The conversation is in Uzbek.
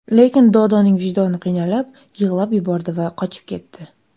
Lekin Dodoning vijdoni qiynalib, yig‘lab yubordi va qochib ketdi.